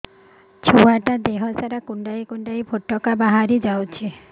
ଛୁଆ ଟା ଦେହ ସାରା କୁଣ୍ଡାଇ କୁଣ୍ଡାଇ ପୁଟୁକା ବାହାରି ଯାଉଛି